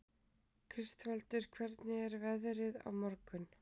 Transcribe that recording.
Kristvaldur, hvernig er veðrið á morgun?